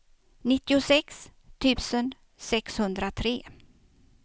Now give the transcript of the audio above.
nittiosex tusen sexhundratre